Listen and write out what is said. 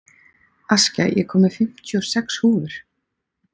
Askja, ég kom með fimmtíu og sex húfur!